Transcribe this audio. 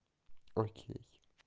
окей